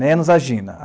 Menos a Gina.